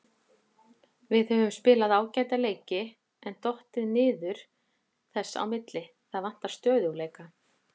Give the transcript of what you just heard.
Við höfum spilað ágæta leiki en dottið niður þess á milli, það vantar stöðugleika.